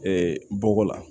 bɔgɔ la